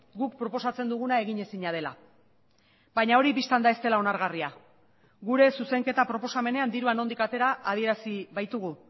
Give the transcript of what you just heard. guk proposatzen duguna eginezina dela baina hori bistan da ez dela onargarria gure zuzenketa proposamenean dirua nondik atera adierazi baitugu